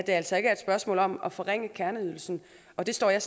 altså ikke er et spørgsmål om at forringe kerneydelsen og det står jeg